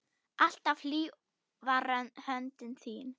Alltaf hlý var höndin þín.